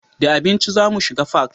Da abinci za mu shiga fak